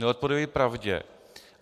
Neodpovídají pravdě.